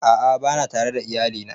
A'a bana tare da iyali na